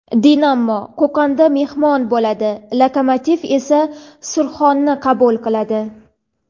"Dinamo" Qo‘qonda mehmon bo‘ladi, "Lokomotiv" esa "Surxon"ni qabul qiladi.